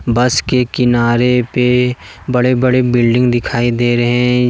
बस के किनारे पे बड़े बड़े बिल्डिंग दिखाई दे रहे हैं।